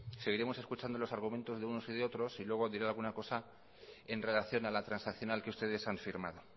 seguiremos escuchando los argumentos de unos y de otros y luego diré alguna cosa en relación a la transaccional que ustedes han firmado